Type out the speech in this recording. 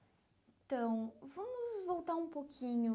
Então, vamos voltar um pouquinho.